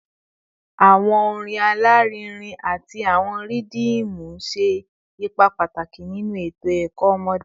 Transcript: Awọn orin alarinrin ati awọn rhythmu ṣe ipa pataki ninu eto ẹkọ ọmọde